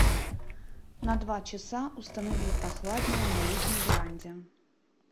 на два часа установи прохладнее на летней веранде